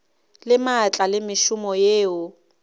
le maatla le mešomo yeo